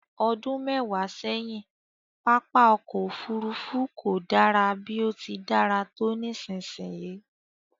Ọdún mẹwa sẹ́yìn, pápá ọkọ̀ Òfurufú kò dára bí ó ti dára tó nísinsìnyí